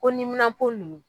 Ko nunnu